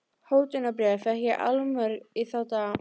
Hótunarbréf fékk ég allmörg í þá daga.